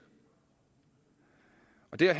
det er